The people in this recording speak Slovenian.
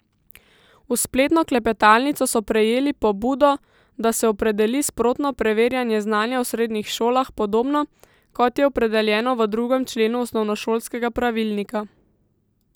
V spletno klepetalnico so prejeli pobudo, da se opredeli sprotno preverjanje znanja v srednjih šolah podobno, kot je opredeljeno v drugem členu osnovnošolskega pravilnika.